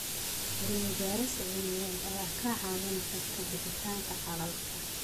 Cilmi-baaris cilmiyeed ayaa kaa caawin karta bixinta xalalka.